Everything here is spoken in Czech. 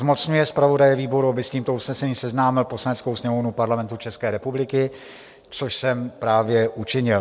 Zmocňuje zpravodaje výboru, aby s tímto usnesením seznámil Poslaneckou sněmovnu Parlamentu České republiky", což jsem právě učinil.